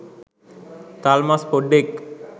තල්මස් පොඩ්ඩෙක්